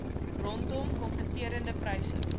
rondom kompeterende pryse